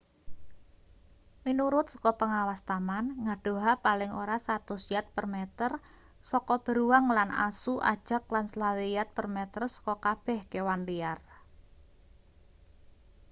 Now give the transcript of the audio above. minurut saka pengawas taman ngadoha paling ora 100 yard/meter saka beruang lan asu ajag lan 25 yard/meter saka kabeh kewan liar!